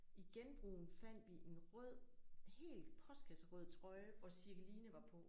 I genbrugen fandt vi en rød helt postkasserød trøje hvor Cirkeline var på